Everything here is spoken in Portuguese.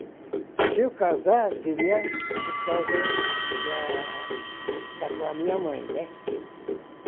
Se eu casar, seria por causa que a estar com a minha mãe, né?